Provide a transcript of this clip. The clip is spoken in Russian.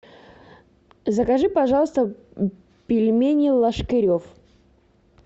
закажи пожалуйста пельмени ложкарев